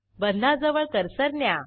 बंधाजवळ cursor न्या